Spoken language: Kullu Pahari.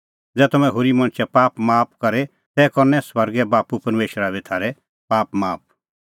ज़ै तम्हैं होरी मणछे पाप माफ करे तै करनै स्वर्गे बाप्पू परमेशरा बी थारै पाप माफ